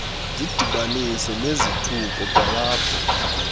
zidibanise nezithuko kwalapho